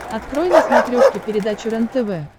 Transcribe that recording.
открой на смотрешке передачу рентв